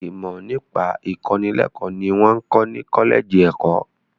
Ìmọ nípa ìkọ́nilẹ́kọ̀ ni wọn ń kọ́ ni kọ́lẹ́ẹ́jì ẹ̀kọ́.